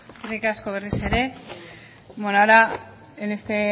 eskerrik asko berriz ere bueno ahora en este